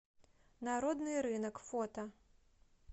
народный рынок фото